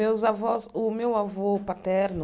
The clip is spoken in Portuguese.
Meus avós... O meu avô paterno